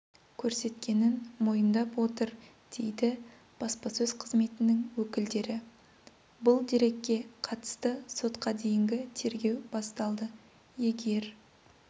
көрсеткенін мойындап отыр дейді баспасөз қызметінің өкілдері бұл дерекке қатысты сотқа дейінгі тергеу басталды егер